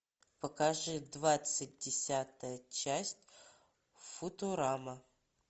покажи двадцать десятая часть футурама